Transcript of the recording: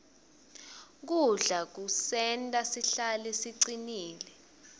kudla kusenta sihlale sicinile